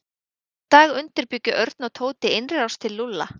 Næsta dag undirbjuggu Örn og Tóti innrás til Lúlla.